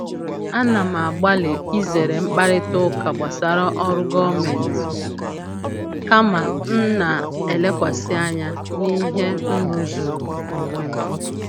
Ana m na-agbalị izere mkparịta ụka gbasara ọrụ gọọmentị, kama m na-elekwasị anya na ihe m rụzuru onwe m.